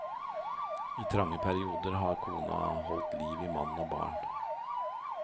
I trange perioder har kona holdt liv i mann og barn.